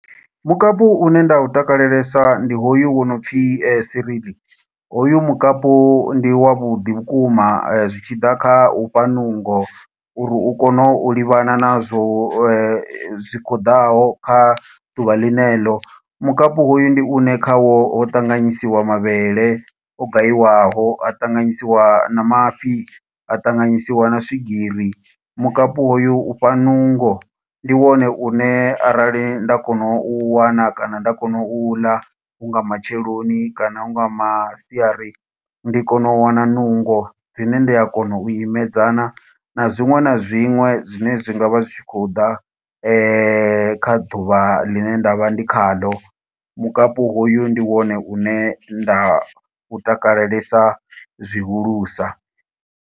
Mukapu une nda u takalelesa ndi hoyu wo no pfi cereal. Hoyu mukapu ndi wa vhuḓi vhukuma, zwi tshi ḓa kha ufha nungo, uri u kone u livhana nazwo zwi khou ḓaho, kha ḓuvha ḽine ḽo. Mukapi hoyu ndi une kha wo ṱanganyisiwa mavhele o gayiwaho, ha ṱanganyisiwa na mafhi, ha ṱanganyisiwa na swigiri. Mukapi hoyu ufha nungo, ndi wone une arali nda kona u u wana, kana nda kona u u ḽa hu nga matsheloni, kana hu nga masiari. Ndi a kona u wana nungo dzine ndi a kona u imedzana na zwiṅwe na zwiṅwe zwine zwi ngavha zwi tshi khou ḓa, kha ḓuvha ḽine nda vha ndi kha ḽo. Mukapi hoyu ndi wone une nda u takalelesa zwihulusa.